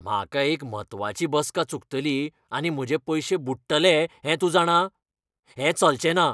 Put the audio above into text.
म्हाका एक म्हत्वाची बसका चुकतली आनी म्हजे पयशे बुडटले हें तूं जाणा? हें चलचेंना.